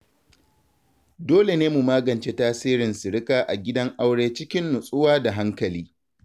Dole ne mu magance tasirin sirika a gidan aure cikin nutsuwa da hankali.